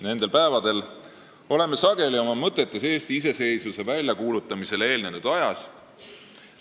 Viimastel päevadel oleme sageli oma mõtetes olnud Eesti iseseisvuse väljakuulutamisele eelnenud ajas.